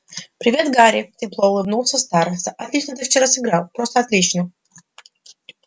привет гарри тепло улыбнулся староста отлично ты вчера сыграл просто отлично